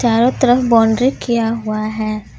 चारों तरफ बाउंड्री किया हुआ है।